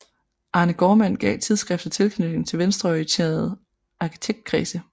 Arne Gaardmand gav tidsskriftet tilknytning til venstreorienterede arkitektkredse